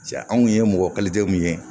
Ja anw ye mɔgɔ mun ye